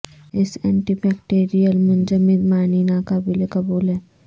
اس anti bacterial منجمد معنی ناقابل قبول ہے